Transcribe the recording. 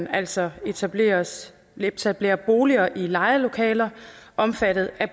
altså etablerer etablerer boliger i lejede lokaler omfattet af